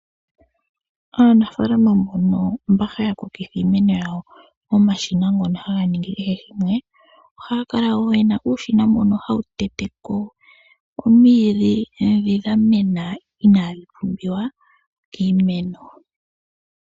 Aanafaalama mbono mba haya kokitha iimeno yawo momashina ngono haga ningi kehe shimwe, ohaya kala woo ye na uushina mbono hawu tete po omwiidhi dhi dhamena inaadhi pumbiwa kiimeno.